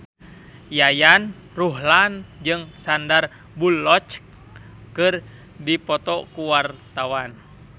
Yayan Ruhlan jeung Sandar Bullock keur dipoto ku wartawan